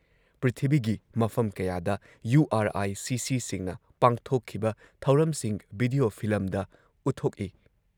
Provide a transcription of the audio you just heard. ꯄ꯭ꯔꯤꯊꯤꯕꯤꯒꯤ ꯃꯐꯝ ꯀꯌꯥꯗ ꯌꯨ ꯑꯥꯔ ꯑꯥꯏ ꯁꯤꯁꯤꯁꯤꯡꯅ ꯄꯥꯡꯊꯣꯛꯈꯤꯕ ꯊꯧꯔꯝꯁꯤꯡ ꯚꯤꯗꯤꯑꯣ ꯐꯤꯂꯝꯗ ꯎꯠꯊꯣꯛꯏ ꯫